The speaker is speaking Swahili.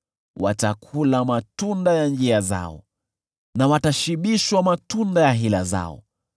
watakula matunda ya njia zao, na watashibishwa matunda ya hila zao.